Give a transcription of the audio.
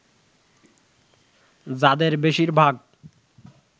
যাদের বেশির ভাগ